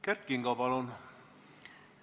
Kert Kingo, palun!